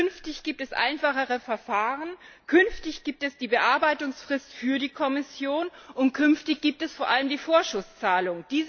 Künftig gibt es einfachere Verfahren, künftig gibt es die Bearbeitungsfrist für die Kommission, und künftig gibt es vor allem die Vorschusszahlung.